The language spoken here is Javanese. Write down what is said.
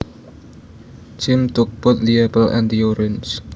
Jim took both the apple and the orange